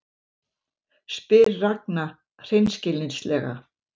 spyr Ragna hreinskilnislega.